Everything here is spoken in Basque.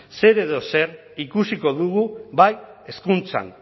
zer edo zer ikusiko dugu bai hezkuntzan